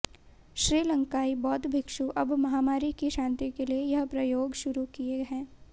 श्रीलंकाई बौद्ध भिक्षु अब महामारी की शांति के लिए यह प्रयोग शुरू किए हैं